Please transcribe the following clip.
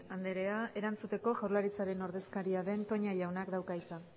andrea erantzuteko jaurlaritzaren ordezkaria den toña jaunak dauka hitza